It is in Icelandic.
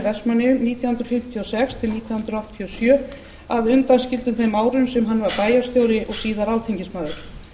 vestmannaeyjum nítján hundruð fimmtíu og sex til nítján hundruð áttatíu og sjö að undanskildum þeim árum sem hann var bæjarstjóri og síðar alþingismaður